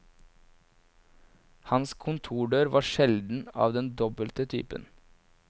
Hans kontordør var sjelden av den dobbelte typen.